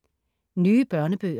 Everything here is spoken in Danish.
Nye børnebøger